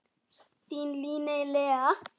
Þín Líney Lea.